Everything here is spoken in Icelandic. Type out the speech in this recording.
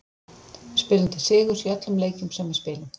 Við spilum til sigurs í öllum leikjum sem við spilum.